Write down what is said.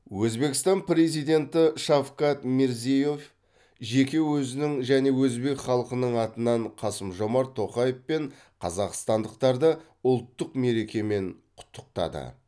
өзбекстан президенті шавкат мирзиеев жеке өзінің және өзбек халқының атынан қасым жомарт тоқаев пен қазақстандықтарды ұлттық мерекемен құттықтады